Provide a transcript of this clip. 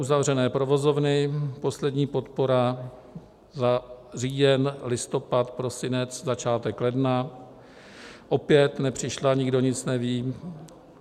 Uzavřené provozovny, poslední podpora za říjen, listopad, prosinec, začátek ledna opět nepřišla, nikdo nic neví.